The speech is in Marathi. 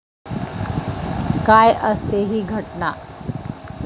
काय असते ही घटना?